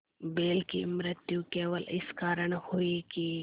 बैल की मृत्यु केवल इस कारण हुई कि